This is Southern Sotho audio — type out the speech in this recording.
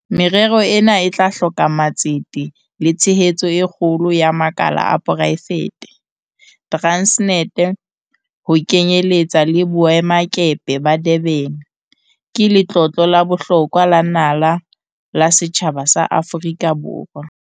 Merero ena e tla hloka matsete le tshehetso e kgolo ya makala a poraefete. Transnet, ho kenye letsa le boemakepe ba Durban, ke letlotlo la bohlokwa la naha la setjhaba sa Aforika Borwa.